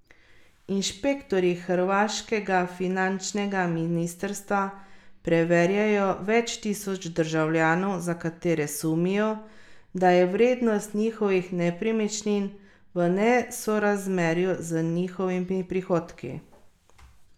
Inšpektorji hrvaškega finančnega ministrstva preverjajo več tisoč državljanov, za katere sumijo, da je vrednost njihovih nepremičnin v nesorazmerju z njihovimi prihodki.